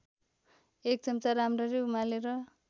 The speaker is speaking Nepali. १ चम्चा राम्ररी उमालेर